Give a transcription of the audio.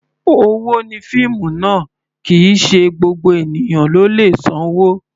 Owó ni fíìmù ná, kì í sì í ṣe gbogbo ènìyàn ló lè sanwó.